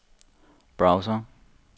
browser